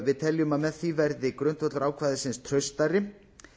við teljum að með því verði grundvöllur ákvæðisins traustari